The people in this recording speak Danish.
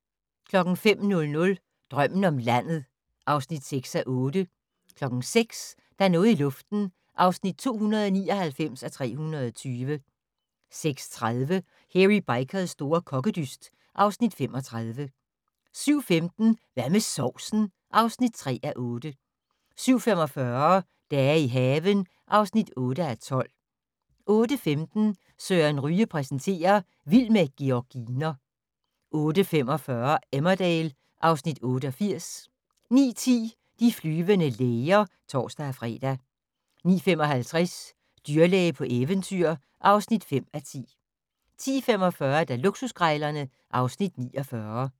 05:00: Drømmen om landet (6:8) 06:00: Der er noget i luften (299:320) 06:30: Hairy Bikers' store kokkedyst (Afs. 35) 07:15: Hvad med sovsen? (3:8) 07:45: Dage i haven (8:12) 08:15: Søren Ryge præsenterer: Vild med georginer 08:45: Emmerdale (Afs. 88) 09:10: De flyvende læger (tor-fre) 09:55: Dyrlæge på eventyr (5:10) 10:45: Luksuskrejlerne (Afs. 49)